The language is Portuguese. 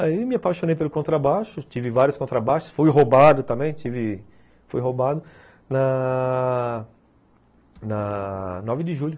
Aí me apaixonei pelo contrabaixo, tive vários contrabaixos, fui roubado também, tive... fui roubado na... na... nove de julho.